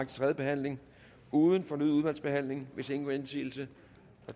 tredje behandling uden fornyet udvalgsbehandling hvis ingen gør indsigelse